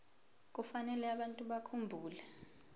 kufanele abantu bakhumbule